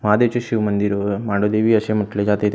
महादेवचे शिव मंदिर व मांढरदेवी म्हटले जाते त्या--